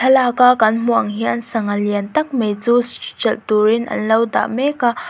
thlalak a kan hmuh ang hian sangha lian tak mai chu hralh turin anlo dah mek a.